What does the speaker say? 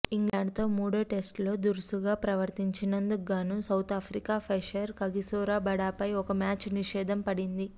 ఇంగ్లాండ్తో మూడో టెస్టులో దురుసుగా ప్రవర్తించినందుకుగాను సౌతాఫ్రికా పేసర్ కగిసో రబాడాపై ఒక మ్యాచ్ నిషేధం పడింది